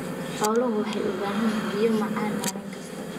Xooluhu waxay u baahan yihiin biyo macaan maalin kasta.